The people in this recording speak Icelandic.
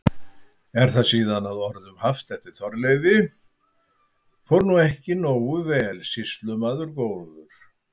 Er það síðan að orðum haft eftir Þorleifi: Fór nú ekki nógu vel, sýslumaður góður?